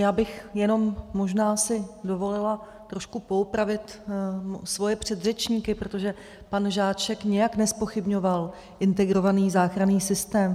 Já bych jenom možná si dovolila trošku poopravit svoje předřečníky, protože pan Žáček nijak nezpochybňoval integrovaný záchranný systém.